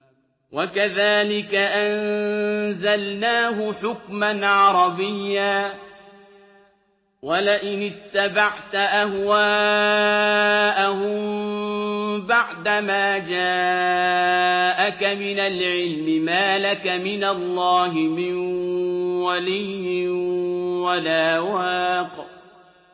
وَكَذَٰلِكَ أَنزَلْنَاهُ حُكْمًا عَرَبِيًّا ۚ وَلَئِنِ اتَّبَعْتَ أَهْوَاءَهُم بَعْدَمَا جَاءَكَ مِنَ الْعِلْمِ مَا لَكَ مِنَ اللَّهِ مِن وَلِيٍّ وَلَا وَاقٍ